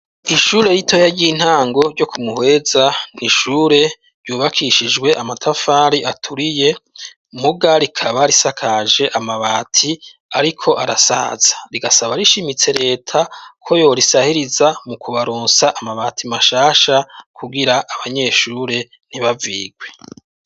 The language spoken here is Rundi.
ishure ritoya ry'intango ryo kumuheza ni ishure ryubakishijwe amatafari aturiye muga rikaba risakaje amabati ariko arasaza rigasaba rishimitse leta ko yo risahiriza mu kubarosa amabati mashasha kubwira abanyeshure ntibavigwe.